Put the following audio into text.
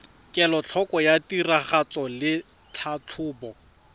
kelotlhoko ya tiragatso le tlhatlhobo